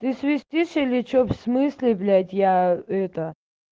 свистишь или что в смысле блять я это